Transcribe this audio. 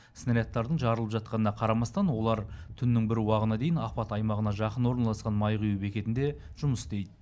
снарядтардың жарылып жатқанына қарамастан олар түннің бір уағына дейін апат аймағына жақын орналасқан май құю бекетінде жұмыс істейді